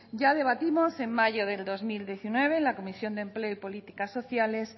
ya debatimos en mayo de dos mil diecinueve en la comisión de empleo y políticas sociales